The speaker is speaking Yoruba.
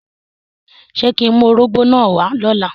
Ṣe ki ń mu órogbó náa wa lọla?